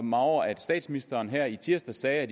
mig over at statsministeren her i tirsdags sagde at